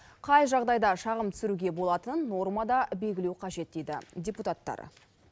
қай жағдайда шағым түсіруге болатынын нормада белгілеу қажет дейді депутаттар